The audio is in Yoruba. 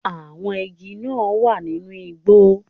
Àwọn igi náà wà nínú igbó